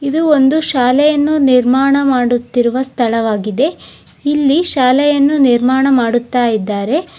ಇದು ಒಂದು ಶಾಲೆಯನ್ನು ನಿರ್ಮಾಣ ಮಾಡುತ್ತಿರುವ ಸ್ಥಳವಾಗಿದೆ. ಇಲ್ಲಿ ಶಾಲೆಯನ್ನುನಿರ್ಮಾಣ ಮಾಡುತ್ತಾ ಇದ್ದಾರೆ.